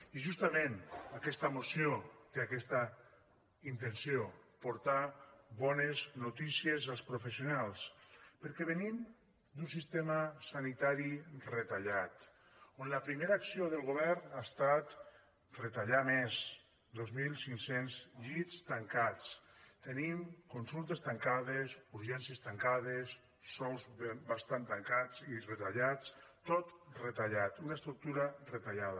i justament aquesta moció té aquesta intenció portar bones notícies als professionals perquè venim d’un sistema sanitari retallat on la primera acció del govern ha estat retallar més dos mil cinc cents llits tancats tenim consultes tancades urgències tancades sous bastant tancats i retallats tot retallat una estructura retallada